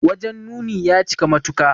Wajen nuni ya cika matuka.